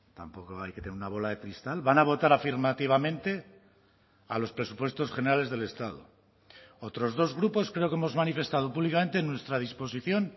tampoco hay que tener una bola de cristal van a votar afirmativamente a los presupuestos generales del estado otros dos grupos creo que hemos manifestado públicamente nuestra disposición